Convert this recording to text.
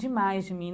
demais de mim.